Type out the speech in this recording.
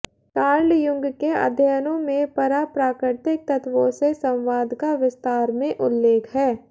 Karl Jung के अध्ययनों में पराप्राकृतिक तत्वों से संवाद का विस्तार में उल्लेख है